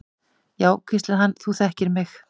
Já, hvíslaði hann, þú þekkir mig.